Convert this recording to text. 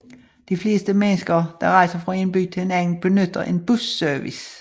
De fleste mennesker der rejser fra en by til en anden benytter en busservice